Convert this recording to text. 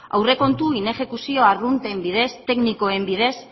aurrekontu inexekuzio arrunten bidez teknikoen bidez